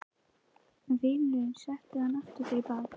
Vinurinn setur hana aftur fyrir bak.